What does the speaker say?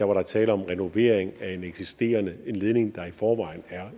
var tale om renovering af en eksisterende en ledning der i forvejen er